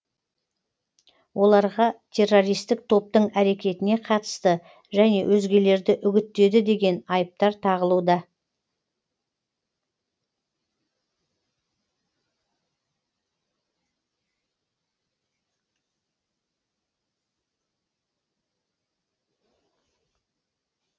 оларға террористік топтың әрекетіне қатысты және өзгелерді үгіттеді деген айыптар тағылуда